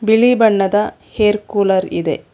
ಬಿಳಿ ಬಣ್ಣದ air cooler ಇದೆ.